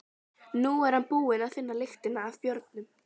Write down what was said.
Nú er hann búinn að finna lyktina af bjórnum.